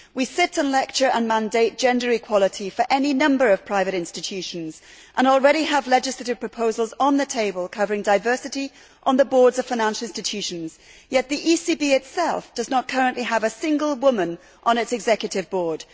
We sit and lecture and mandate gender equality for any number of private institutions and already have legislative proposals on the table covering diversity on the boards of financial institutions yet the ECB itself does not currently have a single woman on its executive board.